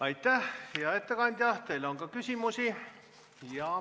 Aitäh, hea ettekandja, teile on ka küsimusi.